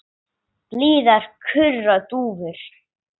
Blíðar kurra dúfur.